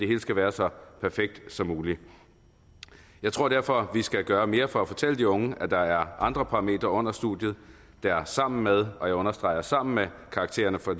hele skal være så perfekt som muligt jeg tror derfor vi skal gøre mere for at fortælle de unge at der er andre parametre under studiet der sammen med og jeg understreger sammen med karaktererne for